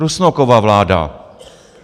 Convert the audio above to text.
Rusnokova vláda.